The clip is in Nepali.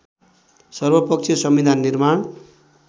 सर्वपक्षीय संविधान निर्माण